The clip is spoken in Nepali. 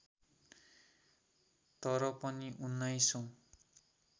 तर पनि उन्नाइसौँ